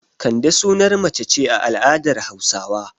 Kande sunar mace ce a al'adar Hausawa.